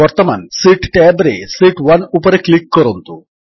ବର୍ତ୍ତମାନ sheet tab ରେ sheet 1 ଉପରେ କ୍ଲିକ୍ କରନ୍ତୁ